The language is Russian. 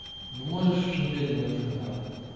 ну можешь уже медленно шагать